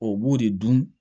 O b'o de dun